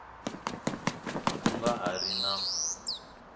ku nga ha ri na